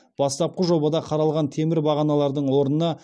бастапқы жобада қаралған темір бағаналардың орнына